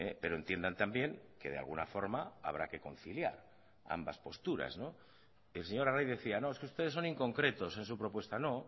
pero entiendan también que de alguna forma habrá que conciliar ambas posturas el señor arraiz decía no es que ustedes son inconcretos en su propuesta no